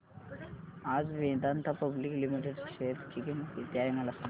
आज Vedanta public limited च्या share ची किंमत किती आहे मला सांगा